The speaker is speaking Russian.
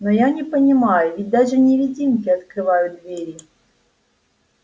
но я не понимаю ведь даже невидимки открывают двери